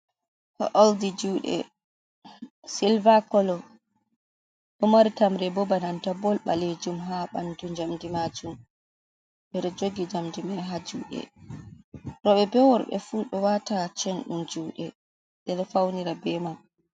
O'ldi juuɗe silva kolo, ɗo mari tamre boo bananta bol ɓaleejuum, ha ɓandu jamdi majuum, ɓe ɗo jogi jamdi mai ha juuɗe rewɓe be worɓe fuu ɗo wata, chen ɗum juuɗe ɓe ɗo faunira be man.